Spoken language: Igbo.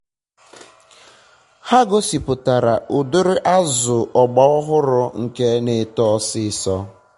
onye nchọpụta ahụ kọwara otu omimi mgbọrọgwu miri na ala si emetuta ka ihe ubi dị iche iche si amịrị nri na ala